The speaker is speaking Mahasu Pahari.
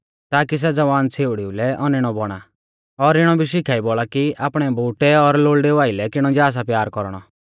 ताकी सै ज़वान छ़ेउड़िऊ लै औनैणौ बौणा और इणौ भी शिखाई बौल़ा कि आपणै बोउटै और लोल़डेऊ आइलै किणौ जा सा प्यार कौरणौ